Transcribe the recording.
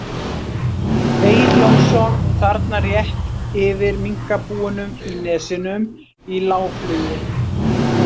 Egill Jónsson, þarna rétt yfir minkabúunum í Nesjunum, í lágflugi.